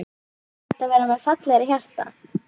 Er hægt að vera með fallegra hjarta?